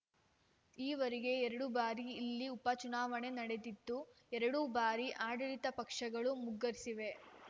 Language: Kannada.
ಈವರೆಗೆ ಎರಡು ಬಾರಿ ಇಲ್ಲಿ ಉಪಚುನಾವಣೆ ನಡೆದಿದ್ದು ಎರಡೂ ಬಾರಿ ಆಡಳಿತ ಪಕ್ಷಗಳು ಮುಗ್ಗರಿಸಿವೆ